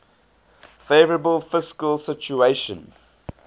favourable fiscal situation